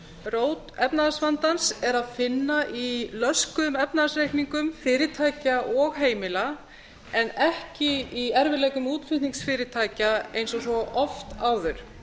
rót efnahagsvandans er að finna í löskuðum efnahagsreikningum fyrirtækja og heimila en ekki í erfiðleikum útflutningsfyrirtækja eins og svo oft áður